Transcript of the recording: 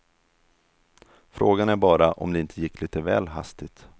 Frågan är bara om det inte gick lite väl hastigt.